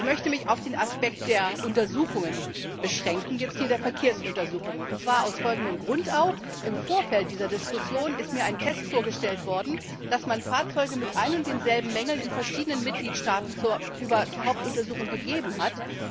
Ich möchte mich auf den Aspekt der Untersuchungen beschränken, genauer der Verkehrsuntersuchungen, und zwar auch aus folgendem Grund Im Vorfeld dieser Diskussion ist mir ein Test vorgestellt worden, bei dem man Fahrzeuge mit den gleichen Mängeln in verschiedenen Mitgliedstaaten zur Hauptuntersuchung gegeben hat.